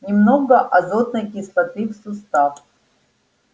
немного азотной кислоты в сустав